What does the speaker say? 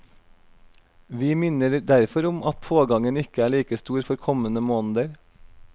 Vi minner derfor om at pågangen ikke er like stor for kommende måneder.